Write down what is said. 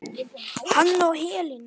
Hann og Helena.